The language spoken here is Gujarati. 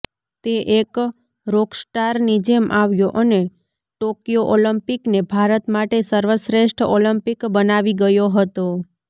તે એક રોકસ્ટારની જેમ આવ્યો અને ટોક્યો ઓલિમ્પિકને ભારત માટે સર્વશ્રેષ્ઠ ઓલિમ્પિક બનાવી ગયો હતો